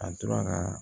A tora ka